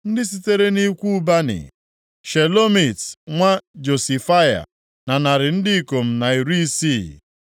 ndị sitere nʼikwu Bani, Shelomit nwa Josifaya na narị ndị ikom na iri isii (160).